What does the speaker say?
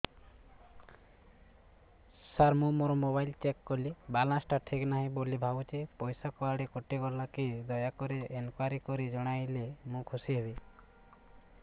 ସାର ମୁଁ ମୋର mobile check କଲି ବାଲାନ୍ସ ଟା ଠିକ ନାହିଁ ବୋଲି ଭାବୁଛି ପଇସା କୁଆଡେ କଟି ଗଲା କି ଦୟାକରି ଇନକ୍ୱାରି କରି ଜଣାଇଲେ ମୁଁ ଖୁସି ହେବି